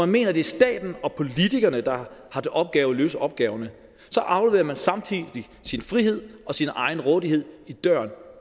mener det er staten og politikerne der har til opgave at løse opgaverne afleverer man samtidig sin frihed og sin egen råderet i døren